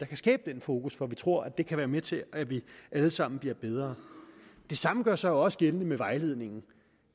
kan skabe den fokus for vi tror at det kan være med til at vi alle sammen bliver bedre det samme gør sig også gældende med vejledningen